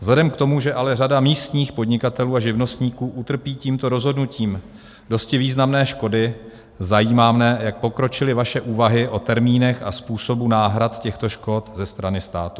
Vzhledem k tomu, že ale řada místních podnikatelů a živnostníků utrpí tímto rozhodnutím dosti významné škody, zajímá mě, jak pokročily vaše úvahy o termínech a způsobu náhrad těchto škod ze strany státu.